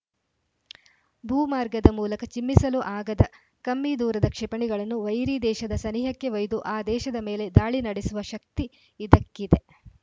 ಭೂಮಾರ್ಗದ ಮೂಲಕ ಚಿಮ್ಮಿಸಲು ಆಗದ ಕಮ್ಮಿ ದೂರದ ಕ್ಷಿಪಣಿಗಳನ್ನು ವೈರಿ ದೇಶದ ಸನಿಹಕ್ಕೆ ಒಯ್ದು ಆ ದೇಶದ ಮೇಲೆ ದಾಳಿ ನಡೆಸುವ ಶಕ್ತಿ ಇದಕ್ಕಿದೆ